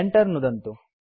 enter नुदन्तु